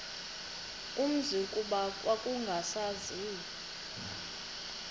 umzi kuba kwakungasaziwa